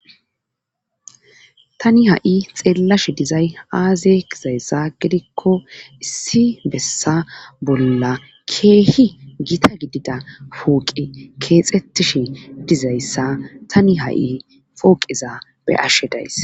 tani ha7i xeellashi dizay aaze kizayssa gidikko issi bessa bolla keehi gita gidida pooqe keexettishi dizayssa tani ha7i pooqiza be ashshe days